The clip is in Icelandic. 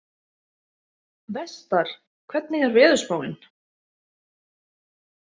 Vestar, hvernig er veðurspáin?